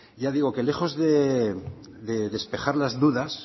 ya digo que lejos de despejar las dudas